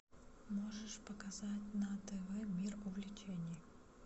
можешь показать на тв мир увлечений